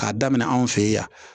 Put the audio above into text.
K'a daminɛ anw fe yen yan